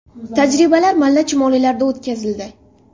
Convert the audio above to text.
Tajribalar malla chumolilarda o‘tkazildi.